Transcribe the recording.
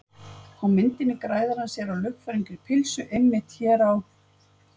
Á myndinni gæðir hann sér á ljúffengri pulsu, einmitt hér á